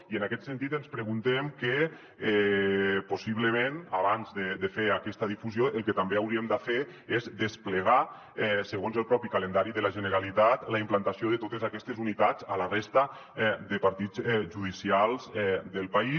i en aquest sentit ens preguntem que possiblement abans de fer aquesta difusió el que també hauríem de fer és desplegar segons el propi calendari de la generalitat la implantació de totes aquestes unitats a la resta de partits judicials del país